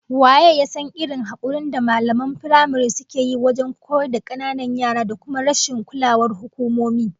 Waye ya san irin hakurin da mallaman firamare suke yi wajen koyar da kananan yara da kuma rashin kulawar hukumomi?